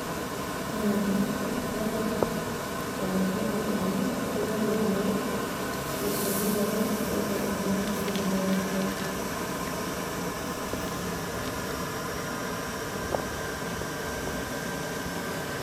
Ore ena naa, enetipat amu itum irkeek tesiokinoto itu imaa sipitalini.